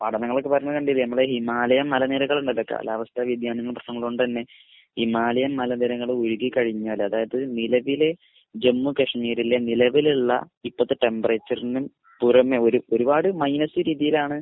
പഠനങ്ങളൊക്കെ വരുന്നത് കണ്ടില്ലേ. നമ്മുടെ ഹിമാലയം മലനിരകൾ കാലാവസ്ഥാവ്യതിയാനത്തിന്റെ പ്രശ്നങ്ങൾ കൊണ്ട് തന്നെ ഹിമാലയം മലനിരകൾ ഉരുകിക്കഴിഞ്ഞാൽ അതായത് നിലവിലെ ജമ്മു കശ്മീരിലെ നിലവിലുള്ള ഇപ്പോഴത്തെ ടെംപറേച്ചറിനെയും തുരന്ന് ഒരുപാട് മൈനസ് ഡിഗ്രിയിലാണ്